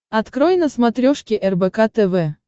открой на смотрешке рбк тв